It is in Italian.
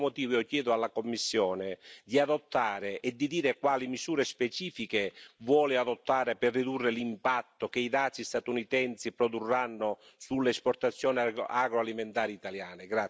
Per questo motivo io chiedo alla Commissione di adottare e di dire quali misure specifiche vuole adottare per ridurre l'impatto che i dazi statunitensi produrranno sull'esportazione agroalimentare italiana.